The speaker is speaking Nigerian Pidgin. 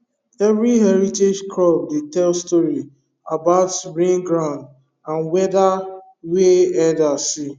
every heritage crop dey tell story about rain ground and weather wey elders see